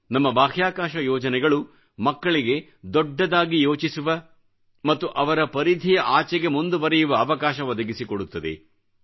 ನಮ್ಮ ಬಾಹ್ಯಾಕಾಶ ಯೋಜನೆಗಳು ಮಕ್ಕಳಿಗೆ ದೊಡ್ಡದಾಗಿ ಯೋಚಿಸುವ ಮತ್ತು ಅವರ ಪರಿಧಿಯ ಆಚೆಗೆ ಮುಂದುವರೆಯುವ ಅವಕಾಶ ಒದಗಿಸಿಕೊಡುತ್ತದೆ